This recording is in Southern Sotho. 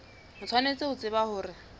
o tshwanetse ho tseba hore